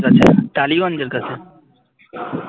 টালিগঞ্জের কাছে